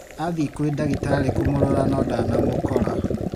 Athie kwĩ dagĩtarĩ kũmũrora no ndanamũkora